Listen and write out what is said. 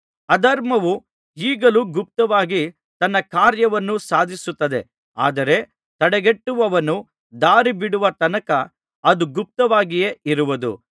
ಅಧರ್ಮವು ಈಗಲೂ ಗುಪ್ತವಾಗಿ ತನ್ನ ಕಾರ್ಯವನ್ನು ಸಾಧಿಸುತ್ತದೆ ಆದರೆ ತಡೆಗಟ್ಟುವವನು ದಾರಿಬಿಡುವ ತನಕ ಅದು ಗುಪ್ತವಾಗಿಯೇ ಇರುವುದು